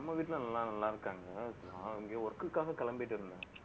நம்ம வீட்டுல எல்லாரும் நல்லா இருக்காங்க. நான் இங்க work க்காக கிளம்பிட்டிருந்தேன்